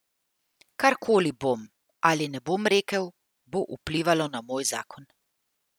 Karkoli bom ali ne bom rekel, bo vplivalo na moj zakon.